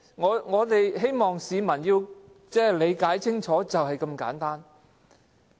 我們希望市民也理解清楚，事情便是那麼簡單。